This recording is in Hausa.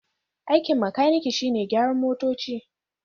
Aikin makaniki shine gyaran motoci.